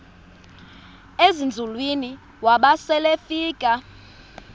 ezinzulwini waba selefika